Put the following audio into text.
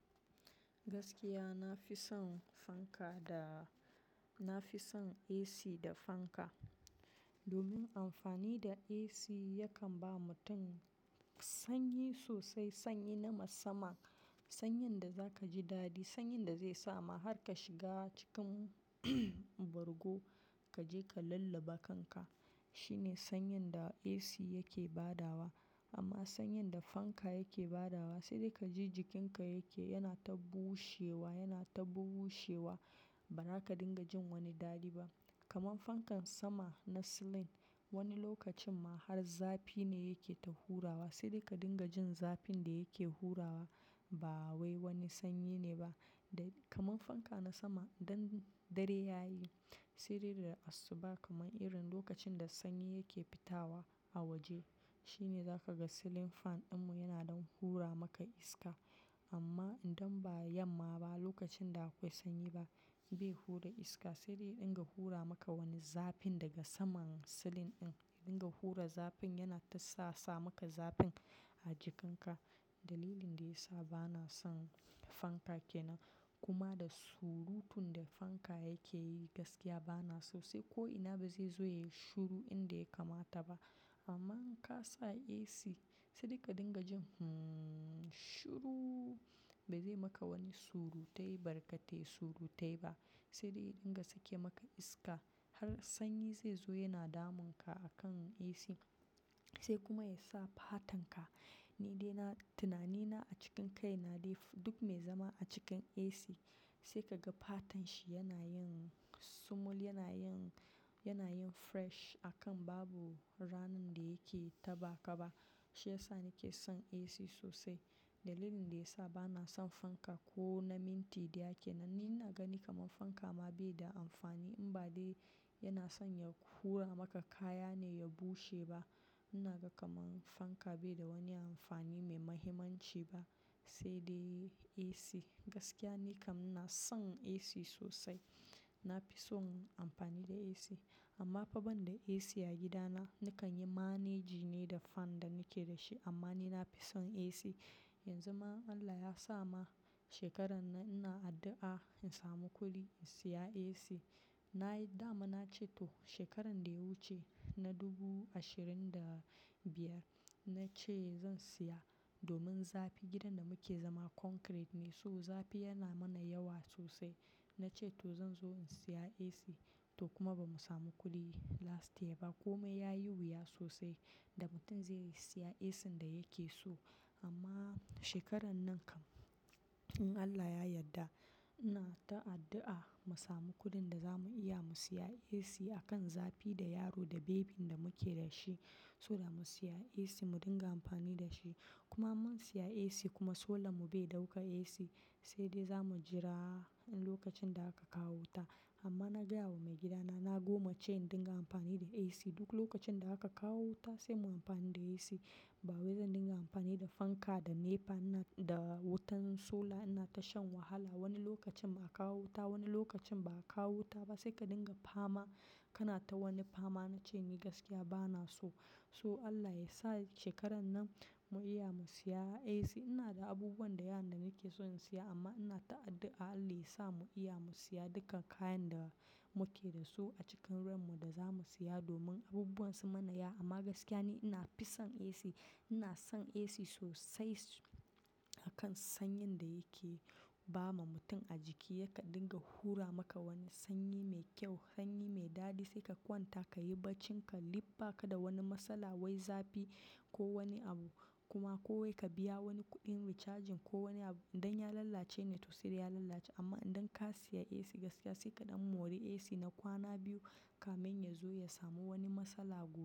Gaskiya, na fi son fanka da-- na fi son AC da fanka. Domin amfani da AC yakan ba mutum sanyi sosai, sanyi na masamma. Sanyin da za ka ji daɗi, sanyin da zai sa ma har ka shiga cikin bargo ka je ka lullaba kanka. Shine sanyin da AC yake ba da wa. Amma sanyin da fanka yake ba da wa sai dai ka ji jikinka yake-- yana ta bushewa, yana ta bushewa. Ba za ka dinga jin wani daɗi ba. Kaman fankan sama na silin, wani lokacin ma har zafi ne yake ta hurawa. Sai dai ka dinga jin zafin da yake hurawa ba wai wani sanyi ne ba. Da kaman fanka na sama, idan dare ya yi, sai dai da asuba kaman irin lokacin da sanyi yake fita wa a waje shine za ka ga silin fan ɗinmu yana don hura maka iska. Amma idan ba yamma ba, lokacin da akwai sanyi ba, bai hura iska sai dai dinga hura maka wani zafin daga saman silin ɗin. Yana dinga hura zafin yana ta sa sa maka zafin a jikinka. Dalilin da ya sa ba na son fanka ke nan. Kuma da surutun da fanka yake yi gaskiya ba na so, sai ko ina ba zai zo ya yi shuru inda ya kamata ba. Amma in ka sa AC sai dai ka dinga jin, hmm, shuru. Bai zai maka wani surutai barkatai surutai ba. Sai dai dinga sake maka iska har sanyi zai zo yana damunka a kan AC. Sai kuma ya sa fatanka, ni dai na-- tunanina a cikin kai na dai duk mai zama a cikin AC sai ka ga fatanshi yana yin smooth, yana yin, yana yin fresh a kan babu ranar da yake taɓa kaba. Shi ya sa ni ke son AC sosai. Dalilin da ya sa ba na son fanka ko na minti da yake nan. Ni ina gani kaman fanka ma bai da amfani. In ba dai yana son ya hura maka kaya ne ya bushe ba. Na ga kaman fanka bai da wani amfani mai mahimmanci ba. Sai dai AC, gaskiya ni kam ina son AC sosai. Na fi son amfani da AC. Amma fa ban da AC a gidana nakan yi manage ne da fan da nake da shi. Amma ni na fi son AC. Yanzu ma Allah ya sa ma shekaran nan ina addu'a in samu kuɗi in saya AC. Na yi damuna, na ce to shekaran da ya wuce, na 2025 na ce zan saya domin zafi. Gidan da muke zama concrete ne, so zafi yana mana yawa sosai. Na ce to zan zo in saya AC. To kuma ba mu samu kuɗi last year ba. Kmai ya yi wuya sosai da mutum zai saya AC ɗin da yake so. Amma shekaran nan kam, in Allah ya yadda ina ta addu'a mu samu kuɗin da za mu iya mu saya AC a kan zafi da yaro da baby da muke da shi, so da mu saya AC mu dinga amfani da shi. Kuma mun saya AC kuma solar mu bai dauka AC sai dai za mu jira lokacin da aka kawo wuta. Amma na gaya wa maigidana na goma ce in dinga amfani da AC. Duk lokacin da aka kawo wuta sai mu amfani da AC. Ba wai zan dinga amfani da fanka da nepa ina-- da wutan solar ina ta shan wahala. Wani lokacin a kawo wuta, wani lokacin baa kawo wuta ba sai ka dinga fama, kana ta wani fama na ce ni gaskiya ba na so. Toh Allah yasa shekaran nan, mu iya mu siya AC. Ina da abubuwa dayawa da nakeso in siya amma ina addua Allah yasa mu iya mu siya duka kayan da muke da su a cikin ranmu domin abubuwan sun mana yawa amma gaskiya ne ina fi son AC. Ina son AC sosai a kan sanyin da yake ba ma mutum a jiki. Se ka dinga hura maka wani sanyi mai kyau, sanyi mai dadi, sai ka kwanta kayi bacci mai duk baka da wani matsala wai zafi ko wani abu. Kuma ko wai ka biya wani kuɗin recharging ko wani abu idan ya lallace ne to sai dai ya lallace. Amma idan ka siya AC gaskiya sai kaɗan mori AC na kwana biyu kamin ya zo ya samu wani matsala ba.